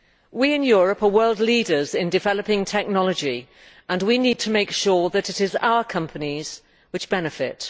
We in Europe are world leaders in developing technology, and we need to make sure that it is our companies which benefit.